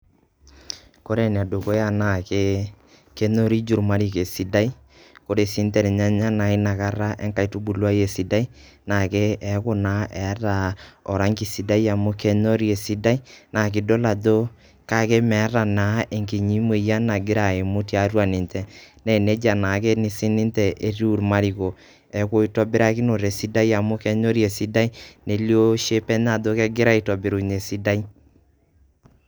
Kore enedukuya na ke, kenyoriju irmariko esidai. Ore sinche irnyanya na inakata enkaitubuluai esidai, na ke eeku naa keeta oranki sidai amu kenyori esidai, na kidol ajo kake meeta naa enkinyi moyian nagira aimu tiatua ninche. Na nejia nake sininche etiu irmariko. Neku itobirakinote esidai amu kenyori esidai, nelio shape enye ajo kegira aitobirunye esidai.